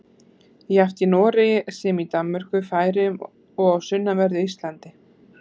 Jafnt í Noregi sem í Danmörku, Færeyjum og á sunnanverðu Íslandi.